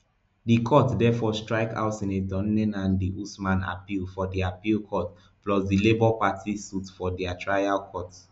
di court therefore strike out senator nenadi usman appeal for di appeal court plus di labour party suit for di trial court